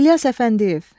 İlyas Əfəndiyev.